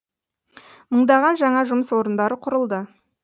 мыңдаған жаңа жұмыс орындары құрылды